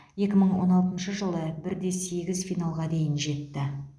екі мың он алтыншы жылы бір де сегіз финалға дейін жетті